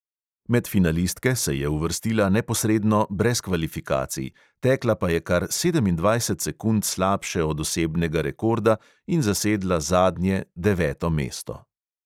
Med finalistke se je uvrstila neposredno brez kvalifikacij, tekla pa je kar sedemindvajset sekund slabše od osebnega rekorda in zasedla zadnje, deveto mesto.